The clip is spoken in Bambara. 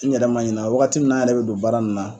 N yɛrɛ ma ɲɛna wagati min na an yɛrɛ be don baara in na